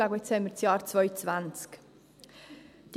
Und jetzt haben wir das Jahr 2020.